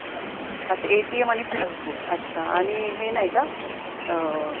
अच्छा ATM आणि passbook आणि हे नाही का? अं